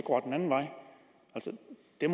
det